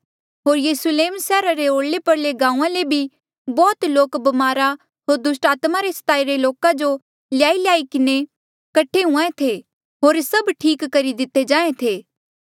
होर यरुस्लेम सैहरा रे ओरले परले गांऊँआं ले भी बौह्त लोक ब्मारा होर दुस्टात्मा रे स्ताईरे लोका जो ल्याईल्याई किन्हें कठे हुंहां ऐें थे होर सभ ठीक करी दिते जाहें थे